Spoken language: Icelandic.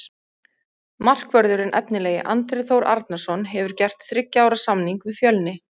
Markvörðurinn efnilegi Andri Þór Arnarson hefur gert þriggja ára samning við Fjölni.